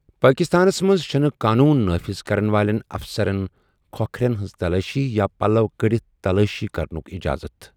پاکستانَس منٛز چھٗنہٕ قونوٗن نافذ کرَن والٮ۪ن اَفسرَن كھو٘كھرین ہنز تلٲشی یا پلو٘ كڈِتھ تلٲشی كرنٗك اِجازت ۔